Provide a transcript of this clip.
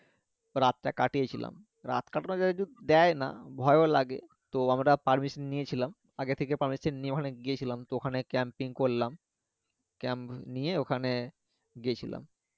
রাতটা কাটিয়ে ছিলাম রাত কাটানো যেহেতু দেয় না ভয় ও লাগে তো আমরা পারমিশন নিয়েছিলাম আগে থেকে নিয়ে ওখানে গিয়েছিলাম ওখানে করলাম নিয়ে ওখানে গছিলাম